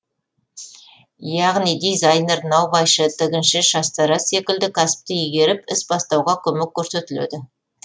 яғни дизайнер наубайшы тігінші шаштараз секілді кәсіпті игеріп іс бастауға көмек көрсетіледі